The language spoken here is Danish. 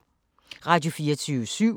Radio24syv